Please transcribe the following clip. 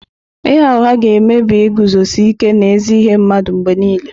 Ịgha ụgha ga-emebi iguzosi ike n'ezi ihe mmadụ mgbe nile.